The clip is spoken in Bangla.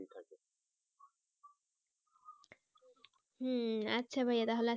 হম আচ্ছা ভাইয়া তাহলে